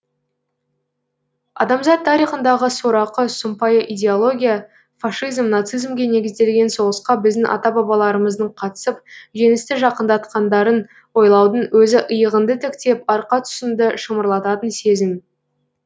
адамзат тарихындағы сорақы сұмпайы идеология фашизм нацизмге негізделген соғысқа біздің ата бабаларымыздың қатысып жеңісті жақындатқандарын ойлаудың өзі иығыңды тіктеп арқа тұсыңды шымырлататын сезім